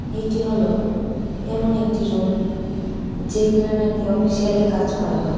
এটি হলো এমন একটি রুম যেখানে নাকি অফিসিয়ালি কাজ করা হয়.